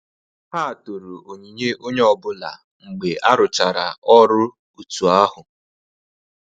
Ha toro onyinye onye ọbụla mgbe aruchara ọrụ otu ahu